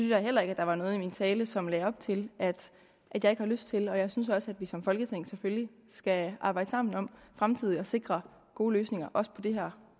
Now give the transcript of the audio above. jeg heller ikke der var noget i min tale som lagde op til at jeg ikke har lyst til og jeg synes også at vi som folketing selvfølgelig skal arbejde sammen om fremtidigt at sikre gode løsninger også på det her